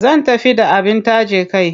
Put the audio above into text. Zan tafi da abin taje kai.